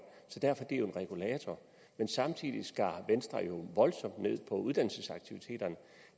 en regulator men samtidig skar venstre voldsomt ned på uddannelsesaktiviteterne